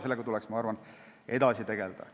Sellega tuleks, ma arvan, edasi tegeleda.